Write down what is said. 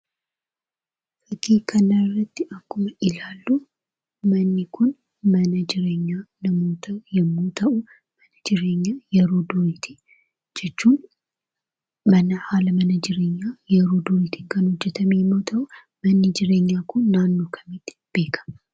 Fakkii kanarratti akkuma ilaalluu, manni kun mana jireenyaa namootaa yommuu ta'u, mana jireenyaa yeroo duriitii, jechuun mana haala mana jireenyaa yeroo duriitiin kan hojjatame yommuu ta'u manni jireenyaa kun naannoo kamitti beekkama